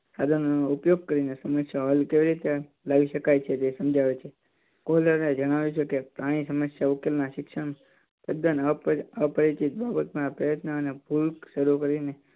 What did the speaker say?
સાધનો નો ઉપયોગ કરીને સમસ્યાનો હલ કેવી રીતે લાવી શકાય છે તે સમજાવે છે. જણાવે છે કે પ્રાણી સમસ્યા ઉકેલ ના શિક્ષણ તદન અપરિચિત બાબત માં પ્રયત્ન અને શરૂ કરીને